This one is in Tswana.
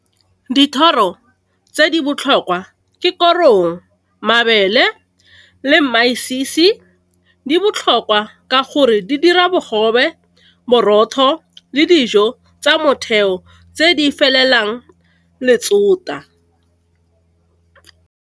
Dithoro tse di botlhokwa, ke korong, mabele le masisi . Di botlhokwa ka gore di dira bogobe, borotho le dijo tsa motheo tse di felelang letsota.